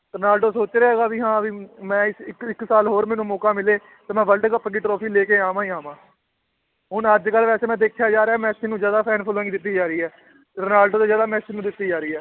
Ronaldo ਸੋਚ ਰਿਹਾ ਹੈਗਾ ਵੀ ਹਾਂ ਵੀ ਮੈਂ ਇਸ ਇੱਕ ਇੱਕ ਸਾਲ ਹੋਰ ਮੈਨੂੰ ਮੌਕਾ ਮਿਲੇ ਤੇ ਮੈਂ world ਕੱਪ ਦੀ trophy ਲੈ ਕੇ ਆਵਾਂ ਹੀ ਆਵਾਂ ਹੁਣ ਅੱਜ ਕੱਲ੍ਹ ਵੈਸੇ ਮੈਂ ਦੇਖਿਆ ਯਾਰ ਇਹ ਮੈਸੀ ਨੂੰ ਜ਼ਿਆਦਾ fan following ਦਿੱਤੀ ਜਾ ਰਹੀ ਹੈ ਰੋਨਾਲਡੋ ਤੋਂ ਜ਼ਿਆਦਾ ਮੈਸੀ ਨੂੰ ਦਿੱਤੀ ਜਾ ਰਹੀ ਹੈ